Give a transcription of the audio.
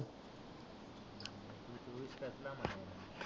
तु चोवीस कस काय म्हणाला?